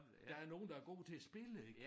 Der er nogle der er gode til spillet ik